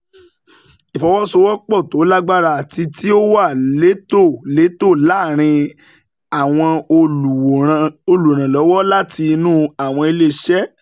Ìfọ̀sowọ́sowọ́pọ̀ tó lágbára àti tí ó wà létòlétò láàárín àwọn olùrànlọ́wọ́ láti inú àwọn ilé iṣẹ́